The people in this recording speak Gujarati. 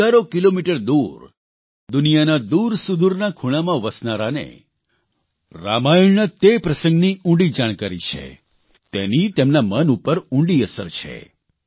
હજારો કિલોમીટર દૂર દુનિયાના દૂરસૂદૂરના ખૂણામાં વસનારાને રામાયણના તે પ્રસંગની ઉંડી જાણકારી છે તેની તેમના મન ઉપર ઉંડી અસર છે